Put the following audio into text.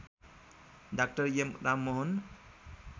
डा एम राममोहन